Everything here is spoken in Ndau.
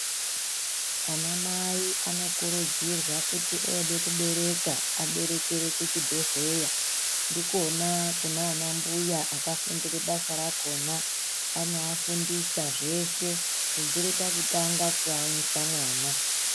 Anamai anokurudzirwa kuti ode kubereka aberekere kuchibhehleya ndikona kunana mbuya akafundire basa rakona anoafundisa zvese kubvire pakutanga kuamwisa mwana.